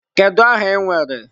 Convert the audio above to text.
Kedu aha ị nwere?